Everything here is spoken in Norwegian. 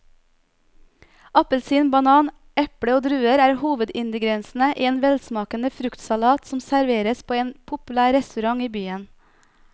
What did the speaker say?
Appelsin, banan, eple og druer er hovedingredienser i en velsmakende fruktsalat som serveres på en populær restaurant i byen.